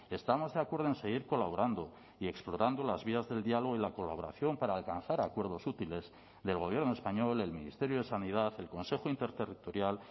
estamos de acuerdo en seguir colaborando y explorando las vías del diálogo y la colaboración para alcanzar acuerdos útiles del gobierno español el ministerio de sanidad el consejo interterritorial